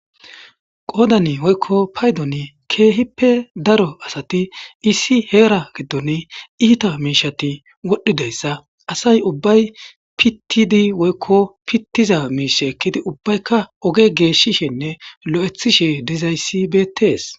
Qoyddan woykko payddon kehipe daro asati issi hera giddon iita mishati wodhidaysa asay ubbay pittidi woykko pittiza miisha ekkidi ubbayka oge geshishene loytishe dizayssi bettes.